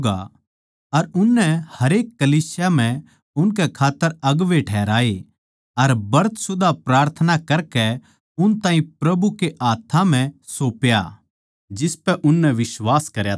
अर उननै हरेक कलीसिया म्ह उनकै खात्तर अगुवें ठहराए अर ब्रत सुदा प्रार्थना करकै उन ताहीं प्रभु कै हाथ्थां म्ह सौप्या जिसपै उननै बिश्वास करया था